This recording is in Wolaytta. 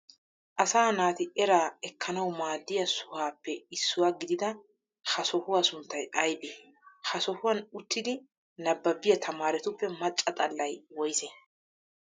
Asaa naati era wkkanawu maaddiyaa sohaappe issuwaa gididaa ha sohuwaa sunttayi ayiibee? Ha sohuwaan uttidi nababiyaa tamaaretuppe macca xallayi woyisee?